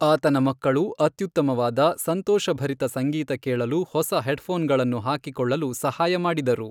ಆತನ ಮಕ್ಕಳು ಅತ್ಯುತ್ತಮವಾದ, ಸಂತೋಷಭರಿತ ಸಂಗೀತ ಕೇಳಲು ಹೊಸ ಹೆಡ್ಫೋನ್ಗಳನ್ನು ಹಾಕಿಕೊಳ್ಳಲು ಸಹಾಯ ಮಾಡಿದರು.